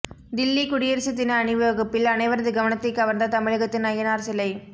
தில்லி குடியரசு தின அணிவகுப்பில் அனைவரது கவனத்தைக் கவர்ந்த தமிழகத்தின் அய்யனார் சிலை